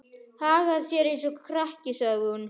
Hagar þér eins og krakki, sagði hún.